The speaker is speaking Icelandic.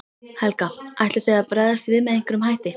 Helga: Ætlið þið að bregðast við með einhverjum hætti?